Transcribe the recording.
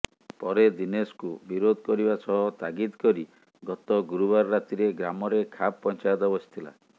ପରେ ଦିନେଶକୁ ବିରୋଧ କରିବା ସହ ତାଗିତ କରି ଗତ ଗୁରୁବାର ରାତିରେ ଗ୍ରାମରେ ଖାପ୍ ପଞ୍ଚାୟତ ବସିଥିଲା